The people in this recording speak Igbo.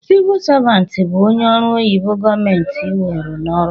Sivu savant bu ónyé ọrụ oyibo gọọmenti weru n'ọrụ